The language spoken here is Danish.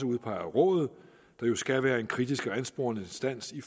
udpeget af rådet der jo skal være en kritisk og ansporende instans i